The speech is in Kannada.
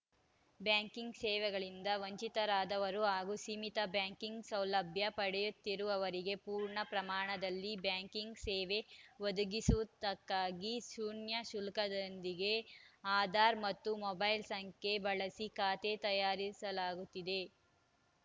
ಬ್ಯಾಂಕಿಂಗ್‌ ಸೇವೆಗಳಿಂದ ವಂಚಿತರಾದವರು ಹಾಗೂ ಸೀಮಿತ ಬ್ಯಾಂಕಿಂಗ್‌ ಸೌಲಭ್ಯ ಪಡೆಯುತ್ತಿರುವವರಿಗೆ ಪೂರ್ಣ ಪ್ರಮಾಣದಲ್ಲಿ ಬ್ಯಾಂಕಿಂಗ್‌ ಸೇವೆ ಒದಗಿಸುವುದಕ್ಕಾಗಿ ಶೂನ್ಯ ಶುಲ್ಕದೊಂದಿಗೆ ಆಧಾರ್‌ ಮತ್ತು ಮೊಬೈಲ್‌ ಸಂಖ್ಯೆ ಬಳಸಿ ಖಾತೆ ತೆರೆಯಲಾಗುತ್ತಿದೆ